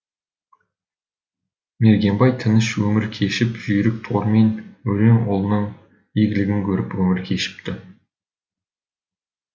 мергенбай тыныш өмір кешіп жүйрік торымен өрен ұлының игілігін көріп өмір кешіпті